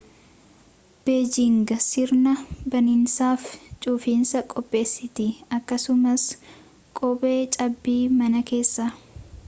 beejing sirna baninsaaf cufiinsaa qopheesiti akkasumaas qophee cabbii mana keessaa